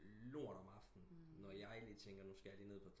Lort om aftnen når jeg lige tænker nu skal jeg ned på